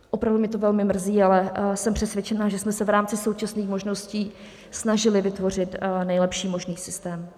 Opravdu mě to velmi mrzí, ale jsem přesvědčena, že jsme se v rámci současných možností snažili vytvořit nejlepší možný systém.